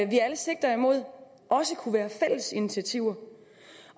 vi alle sigter imod også kunne være fælles initiativer